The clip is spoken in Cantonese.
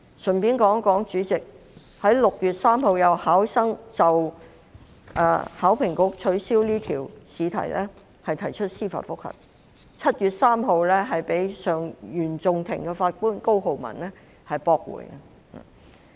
主席，順帶一提，有文憑試考生就考評局取消有關試題於6月3日提出司法覆核，被原訟庭法官高浩文於7月3日駁回。